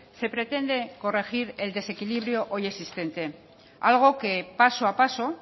se pretende corregir el desequilibrio hoy existente algo que paso a paso